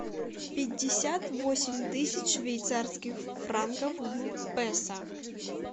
пятьдесят восемь тысяч швейцарских франков в песо